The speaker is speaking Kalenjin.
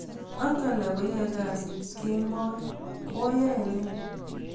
ak alak koae kasit kemboi koae ne?